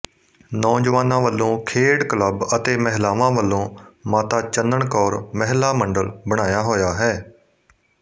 ਨੌਜਵਾਨਾਂ ਵੱਲੋਂ ਖੇਡ ਕਲੱਬ ਅਤੇ ਮਹਿਲਾਵਾਂ ਵੱਲੋਂ ਮਾਤਾ ਚੰਨਣ ਕੌਰ ਮਹਿਲਾ ਮੰਡਲ ਬਣਾਇਆ ਹੋਇਆ ਹੈ